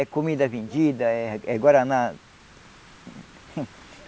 É comida vendida, é é Guaraná.